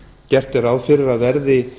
gert er ráð fyrir að verði